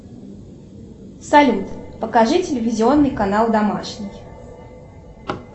салют покажи телевизионный канал домашний